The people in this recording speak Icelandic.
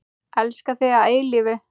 Elska þig að eilífu.